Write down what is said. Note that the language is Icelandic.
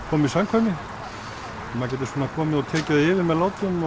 koma í samkvæmi maður getur komið og tekið það yfir með látum